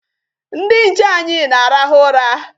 Ndị nche anyị na-arahụ ụra.